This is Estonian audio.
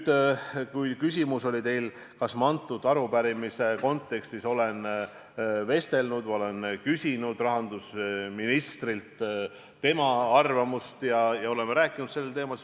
Te küsisite, kas ma selle arupärimise kontekstis olen küsinud rahandusministrilt tema arvamust, kas me oleme rääkinud sellel teemal.